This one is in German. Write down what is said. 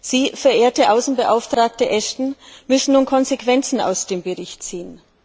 Sie, verehrte Außenbeauftragte Ashton, müssen nun Konsequenzen aus dem Bericht ziehen.